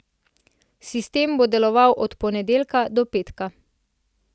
Sistem bo deloval od ponedeljka do petka.